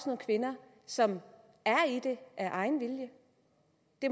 nogle kvinder som er i det af egen vilje